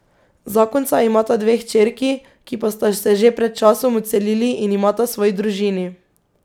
Zakonca imata dve hčerki, ki pa sta se že pred časom odselili in imata svoji družini.